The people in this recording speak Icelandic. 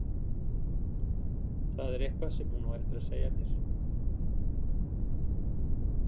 Það er eitthvað sem hún á eftir að segja mér.